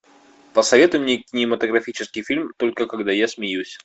посоветуй мне кинематографический фильм только когда я смеюсь